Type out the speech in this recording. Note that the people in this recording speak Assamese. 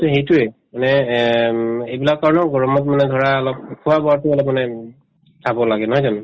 to সেইটোয়ে মানে এ উম এইবিলাক কাৰণেও গৰমত মানে ধৰা অলপ খোৱা-বোৱাতো অলপমানে উম চাব লাগে নহয় জানো